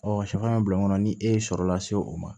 shɛfan bɛ bila mun kɔnɔ ni e ye sɔrɔ la se o ma